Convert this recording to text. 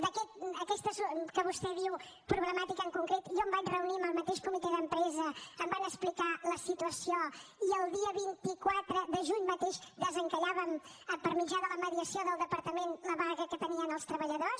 per aquestes que vostè en diu problemàtiques en concret jo em vaig reunir amb el mateix comitè d’empresa em van explicar la situació i el dia vint quatre de juny mateix desencallàvem per mitjà de la mediació del departament la vaga que tenien els treballadors